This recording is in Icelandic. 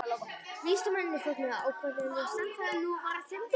Vísindamennirnir fögnuðu ákaft enda sannfærðir um að nú væri þeim borgið.